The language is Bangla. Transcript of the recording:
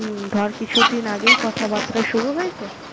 উম ধর কিছুদিন আগেই কথাবার্তা শুরু হয়েছে